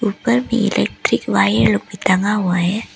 ऊपर में electric wire लोग भी टंगा हुआ है।